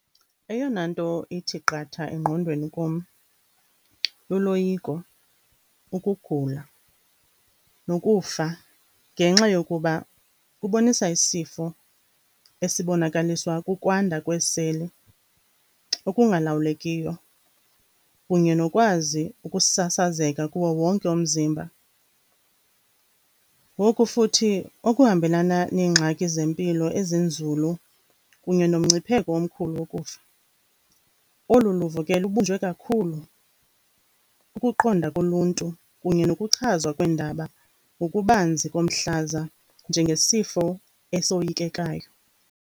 Eyona nto ithi qatha engqondweni kum luloyiko, ukugula nokufa ngenxa yokuba kubonisa isifo esibonakaliswa kukwandwa kwesele okungalawulekiyo kunye nokwazi ukusasazeka kuwo wonke umzimba, ngoku futhi okuhambelana neengxaki zempilo ezinzulu kunye nomngcipheko omkhulu wokufa. Olu luvo ke lubunjwe kakhulu kukuqonda koluntu kunye nokuchazwa kweendaba ngokubanzi komhlaza njengesifo esoyikekayo.